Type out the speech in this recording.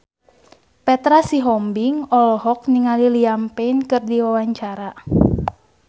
Petra Sihombing olohok ningali Liam Payne keur diwawancara